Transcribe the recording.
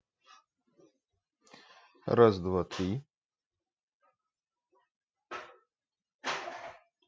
раз два три